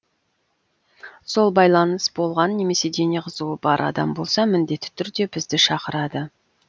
сол байланыс болған немесе дене қызуы бар адам болса міндетті түрде бізді шақырады